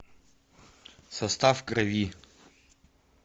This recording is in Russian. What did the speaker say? состав крови